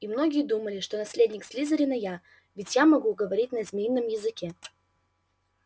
и многие думали что наследник слизерина я ведь я могу говорить на змеином языке